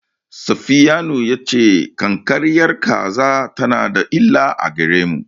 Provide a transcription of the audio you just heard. Safiyanu ya ce ƙanƙararriyar kaza tana da illa a gare mu.